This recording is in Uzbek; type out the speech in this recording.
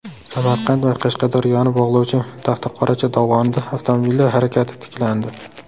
Samarqand va Qashqadaryoni bog‘lovchi Taxtaqoracha dovonida avtomobillar harakati tiklandi.